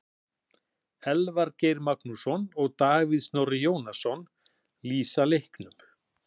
Elvar Geir Magnússon og Davíð Snorri Jónasson lýsa leiknum.